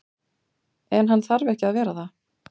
En hann þarf ekki að vera það.